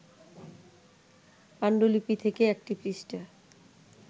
পাণ্ডুলিপি থেকে একটি পৃষ্ঠা